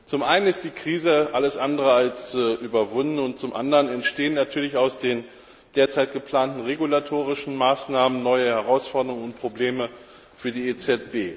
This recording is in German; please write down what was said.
Zum einen ist die Krise alles andere als überwunden und zum anderen entstehen natürlich aus den derzeit geplanten regulatorischen Maßnahmen neue Herausforderungen und Probleme für die EZB.